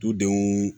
Dudenw